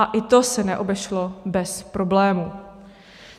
A i to se neobešlo bez problémů.